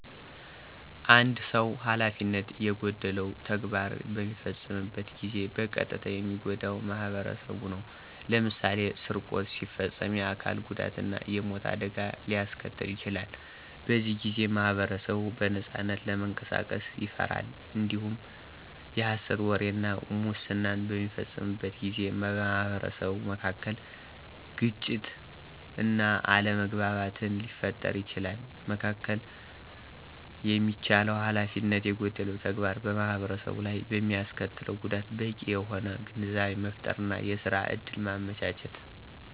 አንድ ሰዉ ሀላፊነት የጎደለው ተግባር በሚፈጽምበት ጊዜ በቀጥታ የሚጎዳው ማኅበረሰቡ ነው። ለምሳሌ ስርቆት ሲፈጽም የአካል ጉዳት እና የሞት አደጋ ሊያስከትል ይችላል። በዚህ ጊዜ ማኅበረሰቡ በነጻነት ለመንቀሳቀስ ይፈራል። እንዲሁም የሀሰት ወሬ እና ሙስናን በሚፈጽምበት ጊዜ በማኅበረሰቡ መካከል ግጭት እና አለመግባባትን ሊፈጥር ይችላል። መከላከል የሚቻለው ሀላፊነት የጎደለው ተግባር በማኅበረሰቡ ላይ በሚያስከትለው ጉዳት በቂ የሆነ ግንዛቤ መፍጠር እና የስራ እድል ማመቻቸት።